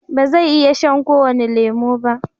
ba zai iya shan ko wani lemo ba